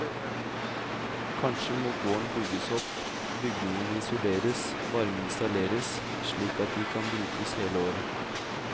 Kanskje må gården bygges opp, bygningene isoleres, varme installeres, slik at de kan brukes hele året.